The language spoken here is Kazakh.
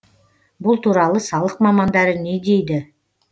бұл туралы салық мамандары не дейді